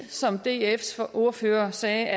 som dfs ordfører sagde